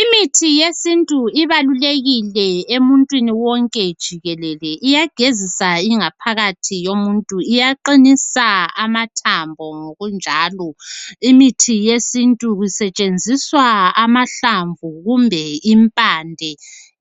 Imithi yesintu ibalulekile emuntwini wonke jikelele. Iyagezisa ingaphakathi yomuntu, iyaqinisa amathambo ngokunjalo imithi yesintu kusetshenziswa amahlamvu kumbe impande